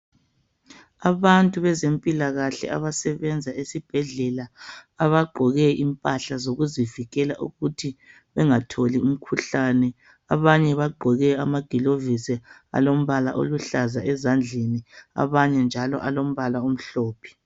Abantu bezempilakahle abasebenza esibhedlela abagqoke impahla zokuzivikela ukuthi bengatholi umkhuhlani abanye bagqoke amagilovisi alombala oluhlaza ezandleni abanye njalo alombala omhlophe